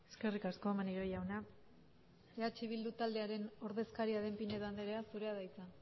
eskerrik asko maneiro jauna eh bildu taldearen ordezkaria den pinedo andrea zurea da hitza